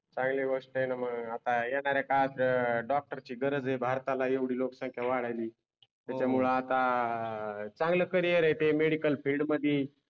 चांगली गोष्ट आहे न मग आता येणार आहे काळात अं डॉक्टर ची गरज आहे भारताला येवडी लोकसंख्या वडायलि त्याच्यामुळ आता चांगल करिअर आहे ते मेडिकल फील्ड मधी